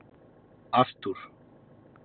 Arthúr